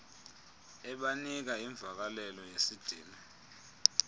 ebanika imvakalelo yesidima